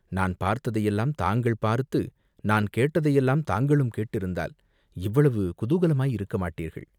நான் பார்த்ததையெல்லாம் தாங்கள் பார்த்து நான் கேட்டதையெல்லாம் தாங்களும் கேட்டிருந்தால் இவ்வளவு குதூகலமாயிருக்க மாட்டீர்கள்.